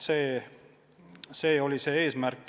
See oli eesmärk.